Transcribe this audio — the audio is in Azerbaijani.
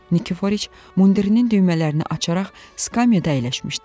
Nikiforiç, mundirinin düymələrini açaraq skamyada əyləşmişdi.